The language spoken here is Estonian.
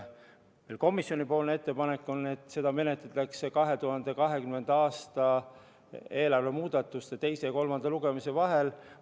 Komisjoni ettepanek on, et seda menetletakse 2020. aasta eelarve seaduse muudatuste teise ja kolmanda lugemise vahel.